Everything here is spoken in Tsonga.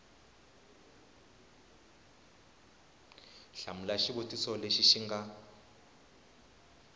hlamula xivutiso lexi xi nga